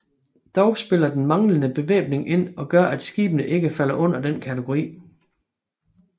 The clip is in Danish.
Dog spiller den manglende bevæbning ind og gør at skibene ikke falder under denne kategori